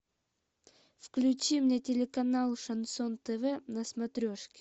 включи мне телеканал шансон тв на смотрешке